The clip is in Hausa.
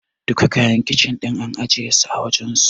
Duka kayan Kicin ɗin an ajiye su a wajensu.